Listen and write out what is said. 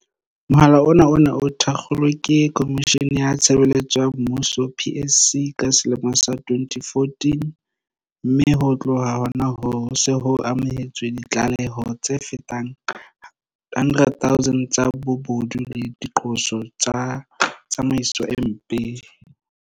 Mohala ona o ne o thakgolwe ke Khomishene ya Tshebeletso ya Mmuso PSC ka selemo sa 2014, mme ho tloha hona hoo, ho se ho amohetswe ditlaleho tse fetang 100 000 tsa bobodu le diqoso tsa tsamaiso e mpe.